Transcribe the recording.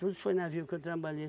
Tudo foi navio que eu trabalhei.